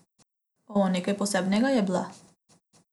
O, nekaj posebnega je bila.